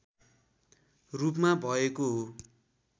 रूपमा भएको हो